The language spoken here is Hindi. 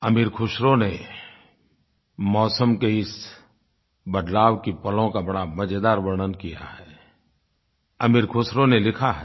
अमीर ख़ुसरो ने मौसम के इस बदलाव के पलों का बड़ा मज़ेदार वर्णन किया है अमीर ख़ुसरो ने लिखा है